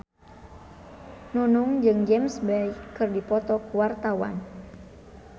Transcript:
Nunung jeung James Bay keur dipoto ku wartawan